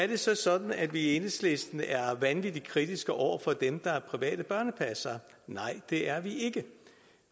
det så sådan at vi i enhedslisten er vanvittig kritiske over for dem der er private børnepassere nej det er vi ikke